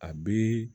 A bi